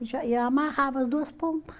E já eh amarrava as duas ponta